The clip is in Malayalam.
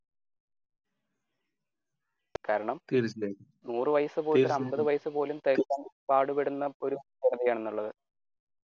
കാരണം നൂർ വയസുപോയിട്ട് ഒരു അമ്പതു വയസും പോലും തികയ്ക്കാൻ പാടുപെടുന്ന ഒരു ജനതയാണ് ഇന്നുള്ളത്.